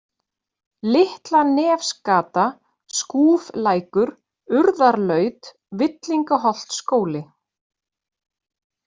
Litlanefsgata, Skúflækur, Urðarlaut, Villingaholtsskóli